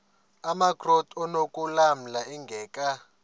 amakrot anokulamla ingeka